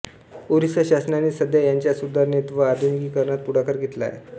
ओरिसा शासनाने सध्या याच्या सुधारणेत व आधुनिकीकरणात पुढाकार घेतला आहे